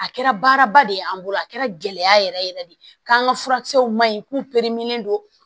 A kɛra baaraba de ye an bolo a kɛra gɛlɛya yɛrɛ yɛrɛ de ye k'an ka furakisɛw ma ɲi k'u don